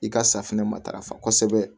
I ka safinɛ matarafa kosɛbɛ